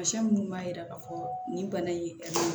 Tamasiyɛn minnu b'a jira k'a fɔ nin bana in